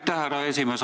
Aitäh, härra esimees!